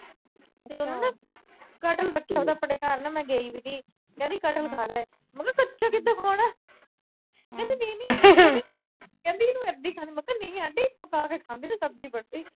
ਤੇ ਉਹਨੇ ਕਟਹਲ ਰੱਖਿਆ ਹੋਇਆ ਥਾ ਆਪਣੇ ਘਰ, ਕਹਿੰਦੀ ਕਟਹਲ ਖਾ ਲੈ। ਮੈਂ ਕਿਹਾ ਕੱਚਾ ਕਿਥੇ ਖਾਣਾ। ਕਹਿੰਦੀ ਨਹੀਂ-ਨਹੀਂ ਕਹਿੰਦੀ ਇਹਨੂੰ ਇਦਾਂ ਹੀ ਖਾਂਦੇ। ਮੈਂ ਕਿਹਾ ਨਹੀਂ ਆਂਟੀ, ਪੱਕਾ ਕੇ ਖਾਂਦੇ ਨੇ। ਸਬਜੀ ਬਣਦੀ।